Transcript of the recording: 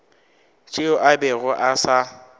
tšeo a bego a sa